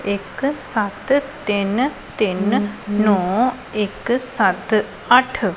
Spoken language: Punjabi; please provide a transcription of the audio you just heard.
ਇਕ ਸਤ ਤਿੰਨ ਤਿੰਨ ਨੋਂ ਇਕ ਸਤ ਆਠ।